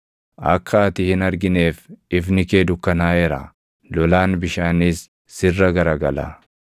Akka ati hin argineef ifni kee dukkanaaʼeera; lolaan bishaaniis sirra garagala.